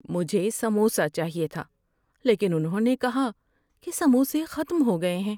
مجھے سموسہ چاہیے تھا لیکن انہوں نے کہا کہ سموسے ختم ہو گئے ہیں۔